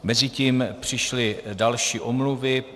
Mezitím přišly další omluvy.